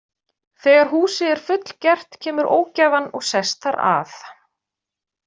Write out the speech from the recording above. Þegar húsið er fullgert kemur ógæfan og sest þar að.